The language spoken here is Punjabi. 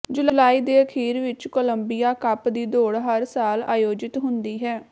ਜੁਲਾਈ ਦੇ ਅਖੀਰ ਵਿੱਚ ਕੋਲੰਬੀਆ ਕੱਪ ਦੀ ਦੌੜ ਹਰ ਸਾਲ ਆਯੋਜਿਤ ਹੁੰਦੀ ਹੈ